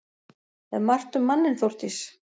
Er margt um manninn Þórdís?